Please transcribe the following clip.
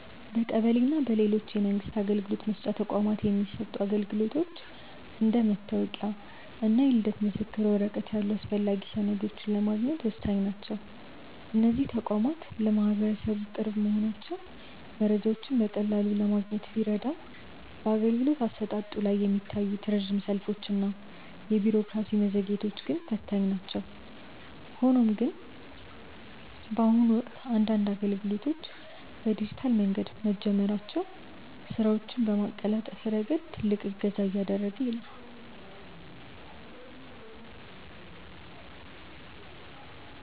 በቀበሌ እና በሌሎች የመንግስት አገልግሎት መስጫ ተቋማት የሚሰጡ አገልግሎቶች እንደ መታወቂያ እና የልደት ምስክር ወረቀት ያሉ አስፈላጊ ሰነዶችን ለማግኘት ወሳኝ ናቸው። እነዚህ ተቋማት ለማህበረሰቡ ቅርብ መሆናቸው መረጃዎችን በቀላሉ ለማግኘት ቢረዳም፣ በአገልግሎት አሰጣጡ ላይ የሚታዩት ረጅም ሰልፎች እና የቢሮክራሲ መዘግየቶች ግን ፈታኝ ናቸው። ሆኖም ግን፣ በአሁኑ ወቅት አንዳንድ አገልግሎቶች በዲጂታል መንገድ መጀመራቸው ስራዎችን በማቀላጠፍ ረገድ ትልቅ እገዛ እያደረገ ነው።